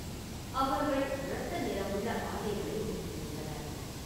அவர்கள் இரத்த நிறமுள்ள ஆடைகளை உடுத்தியிருந்தனர்.